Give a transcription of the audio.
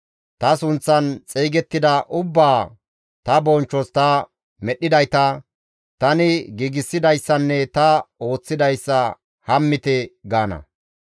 ta sunththan xeygettida ubbaa, ta bonchchos ta medhdhidayta, tani giigsidayssanne ta ooththidayssa hammite» gaana.